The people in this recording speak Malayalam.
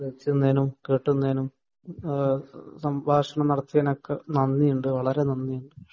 കേട്ടുനിന്നതിനും സംഭാഷണം നടത്തിയതിനും ഒകെ നന്ദിയുണ്ട് വളരെ നന്ദിയുണ്ട്